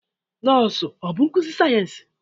Nọọsụ ọ bụ nkuzi sayensị?